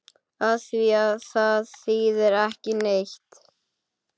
Afþvíað það þýðir ekki neitt.